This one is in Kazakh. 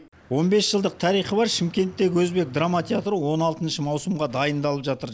он бес жылдық тарихы бар шымкенттегі өзбек драма театры он алты маусымға дайындалып жатыр